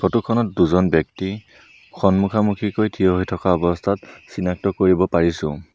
Photo খনত দুজন ব্যক্তি সন্মোখা সন্মুখিকৈ থিয় হৈ থকা অৱস্থাত চিনাক্ত কৰিব পাৰিছোঁ।